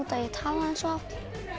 að ég talaði svo hátt